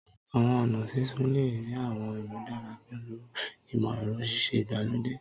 Awọn ọna sisun le rii awọn imudara pẹlu imọ-ẹrọ sise igbalode